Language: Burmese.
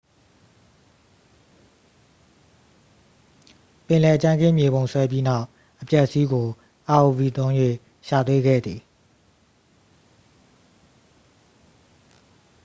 ပင်လယ်ကြမ်းခင်း မြေပုံဆွဲပြီးနောက် အပျက်အစီးကို rov သုံး၍ ရှာတွေ့ခဲ့သည်